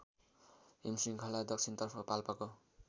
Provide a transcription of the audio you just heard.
हिमशृङ्खला दक्षिणतर्फ पाल्पाको